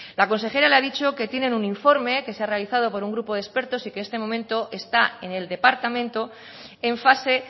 la consejera le ha dicho que tienen un informe que se ha realizado por un grupo de expertos y que en este momento está en el departamento en fase